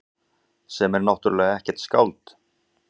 Sem er náttúrlega ekkert skáld.